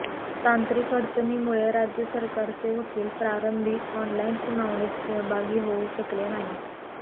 तांत्रिक अडचणीमुळे राज्य सरकारचे वकील प्रारंभी ऑनलाईन सुनावणीत सहभागी होऊ शकले नाहीत